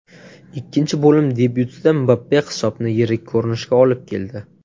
Ikkinchi bo‘lim debyutida Mbappe hisobni yirik ko‘rinishga olib keldi.